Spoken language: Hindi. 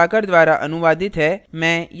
अब हम इस tutorial के अंत में आ गये हैं